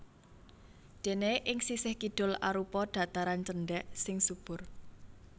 Déné ing sisih kidul arupa dhataran cendhèk sing subur